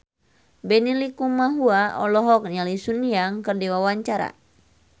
Benny Likumahua olohok ningali Sun Yang keur diwawancara